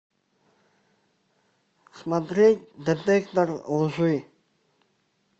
смотреть детектор лжи